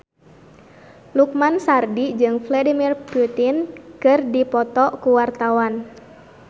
Lukman Sardi jeung Vladimir Putin keur dipoto ku wartawan